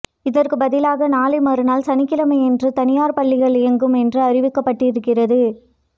இதற்கு பதிலாக நாளை மறுநாள் சனிக்கிழமையன்று தனியார் பள்ளிகள் இயங்கும் என்றும் அறிவிக்கப்பட்டிருக்கிறது